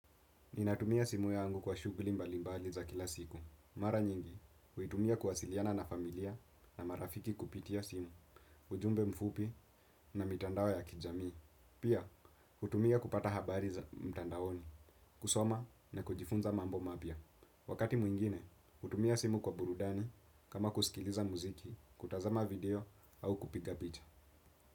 Ninatumia simu yangu kwa shughuli mbalimbali za kila siku. Mara nyingi, huitumia kuwasiliana na familia na marafiki kupitia simu, ujumbe mfupi na mitandao ya kijami. Pia, hutumia kupata habari za mtandaoni, kusoma na kujifunza mambo mapya. Wakati mwingine, hutumia simu kwa burudani kama kusikiliza muziki, kutazama video au kupiga picha.